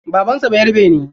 Baban sa bayarabe ne?